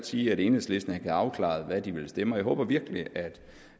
sige at enhedslisten ikke havde afklaret hvad de ville stemme jeg håber virkelig at